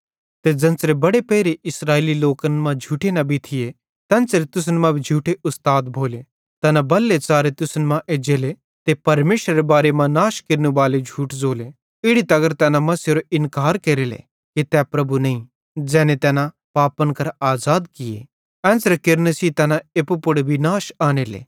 ते ज़ेन्च़रे बड़े पेइले इस्राएली लोकन मां झूठे नबी थिये तेन्च़रे तुसन मां भी झूठे उस्ताद भोले तैना बल्हे च़ारे तुसन मां एज्जेले ते परमेशरेरे बारे मां नाश केरनेबालू झूठ ज़ोले इड़ी तगर तैना मसीहेरो इन्कार केरेले कि तै प्रभु नईं ज़ैने तैना पापन करां आज़ाद किये एन्च़रे केरने सेइं तैना एप्पू पुड़ विनाश आनेले